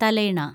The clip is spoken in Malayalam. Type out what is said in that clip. തലയിണ